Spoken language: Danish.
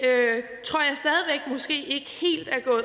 måske det